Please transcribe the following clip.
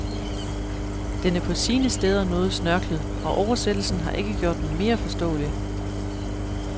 Den er på sine steder noget snørklet, og oversættelsen har ikke gjort den mere forståelig.